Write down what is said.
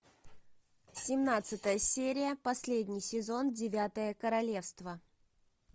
семнадцатая серия последний сезон девятое королевство